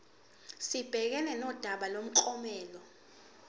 sibhekane nodaba lomklomelo